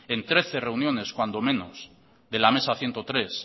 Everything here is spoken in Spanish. en trece reuniones cuando menos de la mesa ciento tres